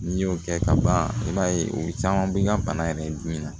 N'i y'o kɛ ka ban i b'a ye o caman bɛ ka bana yɛrɛ dun min na